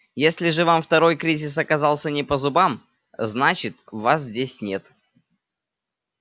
если же вам второй кризис оказался не по зубам значит вас здесь нет